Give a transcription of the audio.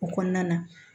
O kɔnɔna na